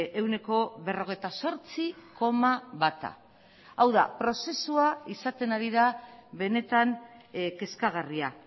ehuneko berrogeita zortzi koma bata hau da prozesua izaten ari da benetan kezkagarria